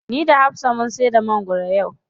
Ni da hafsa mun saida mangwaro yau.